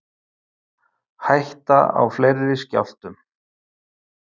Hætta á fleiri skjálftum